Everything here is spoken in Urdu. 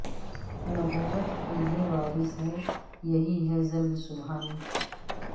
نبوت کے یہ وارث ہیں یہی ہیں ظل سبحانی